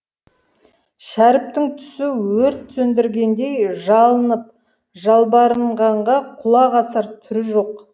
шәріптің түсі өрт сөндіргендей жалынып жалбарынғанға құлақ асар түрі жоқ